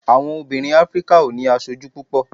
àwọn obìnrin áfríkà o ni aṣoju púpò